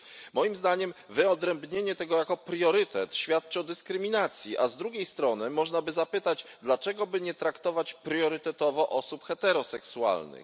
Moim zdaniem wyodrębnienie tego jako priorytetu świadczy o dyskryminacji, a z drugiej strony można by zapytać, dlaczego by nie traktować priorytetowo osób heteroseksualnych.